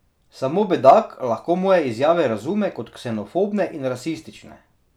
Samo bedak lahko moje izjave razume kot ksenofobne in rasistične.